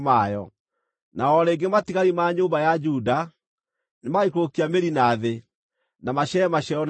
Na o rĩngĩ matigari ma nyũmba ya Juda nĩmagaikũrũkia mĩri na thĩ, na maciare maciaro na igũrũ.